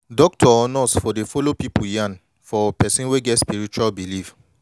doctor or nurse for dey follow pipu yan for person wey get spiritual believe